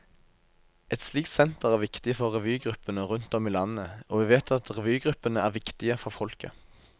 Et slikt senter er viktig for revygruppene rundt om i landet, og vi vet at revygruppene er viktige for folket.